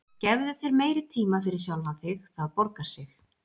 Gefðu þér meiri tíma fyrir sjálfan þig, það borgar sig.